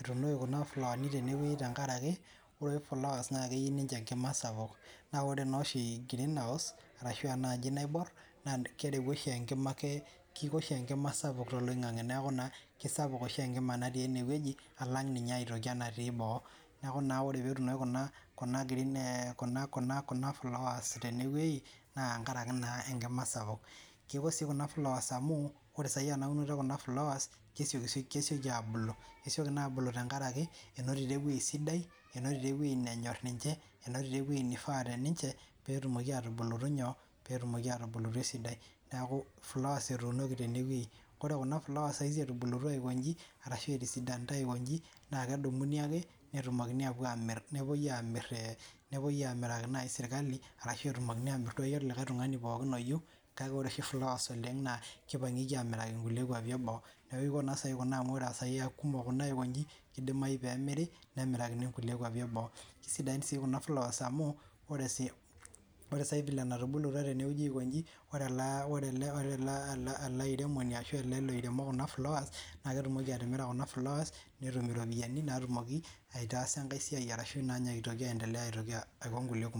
ituunoki kuna flawani tenewei tenkaraki ore oshi flowers naa meyiu oshi ninche enkima sapuk naa ore naa oshi greenhouse arashu aa enaaji naiborr naa kerewu oshi enkima keiko oshi enkima sapuk toloing'ang'e neeku naa keisapuk oshi enkima naati eeneweji alang' ninye aitoki enatii boo nekuu oree peetunoki nayii kuna flowers tenewei naa tenkaraki naa enkima esapuk keko sii kuna flowers amuu ore saii ena unoto enye kesioki abulu kesioki aabulu tenkaraki einotito ewei sidai enotito ewei nanyorr ninche einotito ewei neifaa teninche peetumoki aatubulutu nyoo esidai neeku flowers etuunoki tene wei kore Kuna flowers etubulutua aikonji arashu etisidanita aikonji paa kedumuni ake netumokini aapuo amirr nepoi amir amiraki nayii sirkali aashu amiraki likae tung'ani pookin ooyieu kake oree oshi flowers oleng' naa keipangieki amiraki inkwapi eboo ore kina kumok aiko inji keidimayu peemiri nemirakini inkulie kwapi eboo kesidain sii kuna flowers amuu ore sai filee enatubulutua teneweji aiko inji ore ele airemoni aashu ele lairumo Kuna flowers naa ketumoki atimira kuna flowers netum irropiyiani naatumoki aitaasa enkae siai arashu naa ninye eitoki aientelea naa kulie kumok.